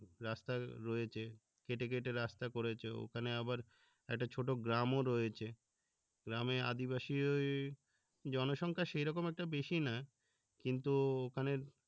রাস্তায় রয়েছে কেটে কেটে রাস্তা করেছে এখানে আবার একটা ছোট গ্রামও রয়েছে গ্রামে আদিবাসী ওই জনসংখ্যা সেই রকম একটা বেশি না কিন্তু ওখানের